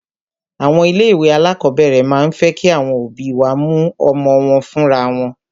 Àwọn ilé ìwé alákọ̀berẹ̀ máà ń fẹ́ kí àwọn òbí wá mú ọmọ wọn fúnra wọn.